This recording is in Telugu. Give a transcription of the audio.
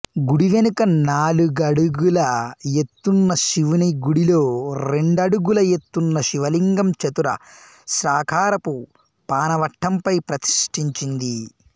గుడివెనక నాలుగడుగుల ఎత్తున్న శివునిగుడిలో రెండడుగుల ఎత్తున్న శివలింగం చతుర స్రాకారపు పానవట్టంపై ప్రతిష్ఠించింది